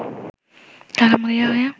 তারা মরিয়া হয়ে